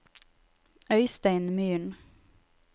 Øystein Myhren